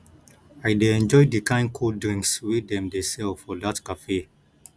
i dey enjoy di kain cold drinks wey dem dey sell for dat cafe